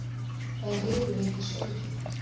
hvað er riðuveiki í sauðfé